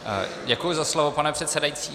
Děkuji za slovo, pane předsedající.